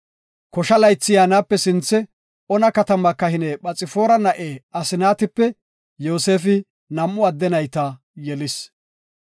Kosha laythi yaanape sinthe, Ona katama kahine Phoxfaara na7e Asnaatipe Yoosefi nam7u adde nayta yelis.